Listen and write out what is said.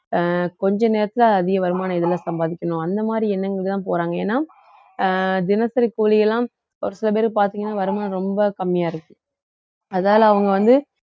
அஹ் கொஞ்ச நேரத்துல அதிக வருமானம் இதுல சம்பாதிக்கணும் அந்த மாதிரி எண்ணங்களுக்கு தான் போறாங்க ஏன்னா தினசரி கூலியெல்லாம் ஒரு சில பேர் பார்த்தீங்கன்னா வருமானம் ரொம்ப கம்மியா இருக்கு அதால அவங்க வந்து